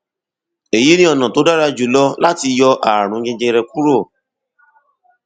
èyí ni ọnà tó dára jùlọ láti yọ ààrùn jẹjẹrẹ kúrò